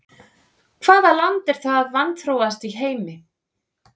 Hvaða land er það vanþróaðasta í heimi?